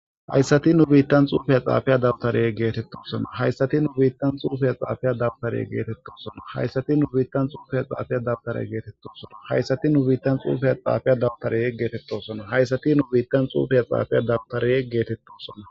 hayssati nu biittan xuufeya xaafiya dabtareye geetettosona hayssati nu biittan xuufeya xaafiya dabtareye geetettosona hayssati nu biittan xuufeya xaafiya dabtare geetettosona hayssati nu biittan xuufeya xaafiya dabtare yeggeetettosona hayssati nu biittan xuufiya xaafiya dabtare yeggeetetto sona